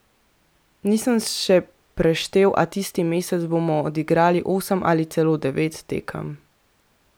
Nisem še preštel, a tisti mesec bomo odigrali osem ali celo devet tekem!